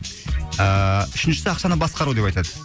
ыыы үшіншісі ақшаны басқару деп айтады